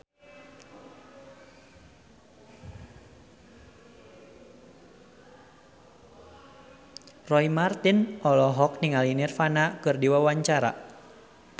Roy Marten olohok ningali Nirvana keur diwawancara